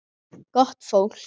Gott fólk.